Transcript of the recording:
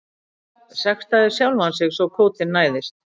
Sektaði sjálfan sig svo kvótinn næðist